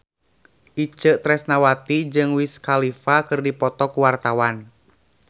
Itje Tresnawati jeung Wiz Khalifa keur dipoto ku wartawan